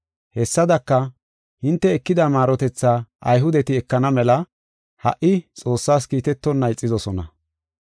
Hessadaka, hinte ekida maarotethaa Ayhudeti ekana mela ha77i Xoossaas kiitetonna ixidosona.